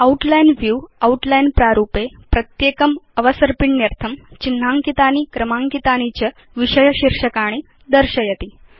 outline view outline प्रारूपे प्रत्येकम् अवसर्पिण्यर्थं चिह्नाङ्कितानि क्रमाङ्कितानि च विषय शीर्षकाणि दर्शयति